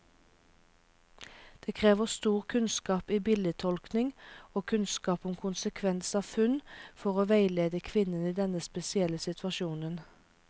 Det krever stor kunnskap i bildetolkning og kunnskap om konsekvens av funn, for å veilede kvinnen i denne spesielle situasjonen.